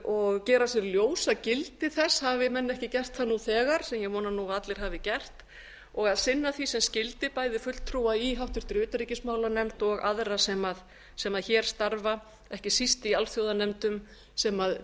og gera sér ljós gildi þess hafi menn ekki gert það nú þegar sem ég vona nú að allir hafi gert og að sinna því sem skyldi bæði fulltrúa í háttvirtri utanríkismálanefnd og aðra sem hér starfa ekki síst í alþjóðanefndum sem